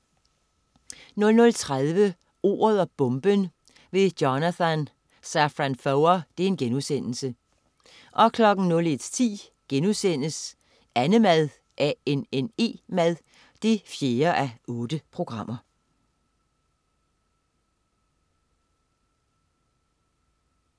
00.30 Ordet og bomben: Jonathan Safran Foer* 01.10 Annemad 4:8*